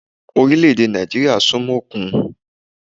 Orílẹ̀-èdè Nàìjíríà súnmọ́ òkun